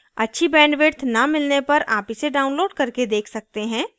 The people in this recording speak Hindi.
अच्छी bandwidth न मिलने पर आप इसे download करके देख सकते हैं